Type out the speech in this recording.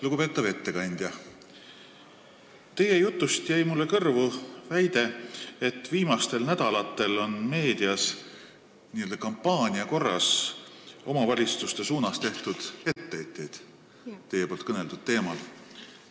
Lugupeetav ettekandja, teie jutust jäi mulle kõrvu väide, et viimastel nädalatel on meedias n-ö kampaania korras omavalitsustele tehtud etteheiteid teie käsitletud teemal.